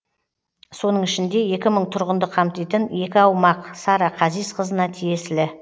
соның ішінде екі мың тұрғынды қамтитын екі аумақ сара қазиқызына тиесілі